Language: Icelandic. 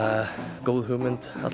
góð hugmynd